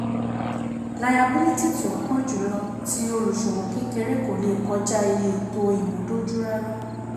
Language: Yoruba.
Layabílítì tí ó pọ̀ jùlọ tí olùṣowó kékeré kò lè kọjá iye ètò ìmúdójú rárá